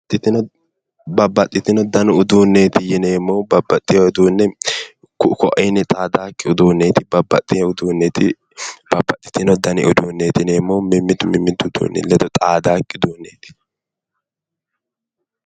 babbaxitino dani uduunneeti yineemmohu babbaxitino uduunne ku''u ku''iinni xaadannokki uduunneeti babbaxtino dani uduunneeti yineemmohu mimmitu mimmitu uduunni ledo xaadannokki uduunneeti.